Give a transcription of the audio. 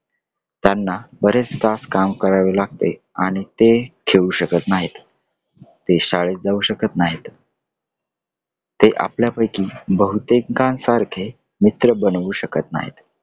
त्यांना बरेच तास काम करावे लागते आणि ते खेळू शकत नाहीत . ते शाळेत जाऊ शकत नाहीत . ते आपल्यापैकी बहुतेकांसारखे मित्र बनवू शकत नाहीत.